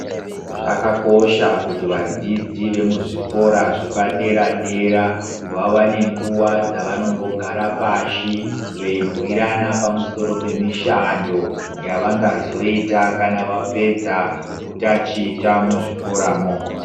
Zvakakosha kuti vadzidzi yemuzvikova zvepadera dera vawane nguva dzavanombogara pashi veyibhuyirana pamusoro pemishando yavangizota kana vapedza kutaticha muzvikora mo.